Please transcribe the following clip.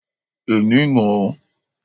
Èmi mọ̀ ọ́.